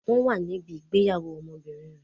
Wọn wà níbí ìgbéyàwó ọmọbìnrin rẹ.